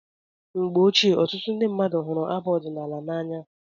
Mgbe ochie, ọtụtụ mmadụ hụrụ abụ ọdinaala n'anya